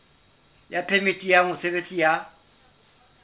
ya phemiti ya mosebetsi ya